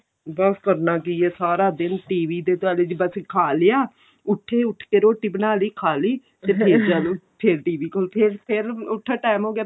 ਬੱਸ ਕਰਨਾ ਕੀ ਆ ਸਾਰਾ ਦਿਨ TV ਦੇ ਦੁਆਲੇ ਖਾ ਲਿਆ ਉੱਠੇ ਉਠ ਕੇ ਰੋਟੀ ਬਣਾ ਲਈ ਖਾਲੀ ਤੇ ਫੇਰ ਚਲੋ ਫ਼ੇਰ TV ਕੋਲ ਫ਼ੇਰ ਫ਼ੇਰ ਉੱਠੋ ਟੈਂਮ ਹੋ ਗਿਆ